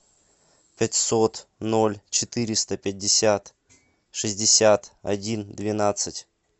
пятьсот ноль четыреста пятьдесят шестьдесят один двенадцать